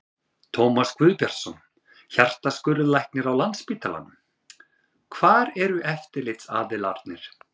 Tómas Guðbjartsson, hjartaskurðlæknir á Landspítalanum: Hvar eru eftirlitsaðilarnir?